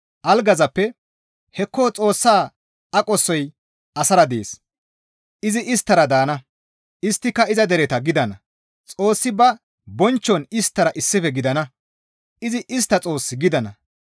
Algazappe, «Hekko Xoossa aqosoy asara dees; izi isttara daana; isttika iza dereta gidana; Xoossi ba bonchchon isttara issife gidana; izi istta Xoos gidana.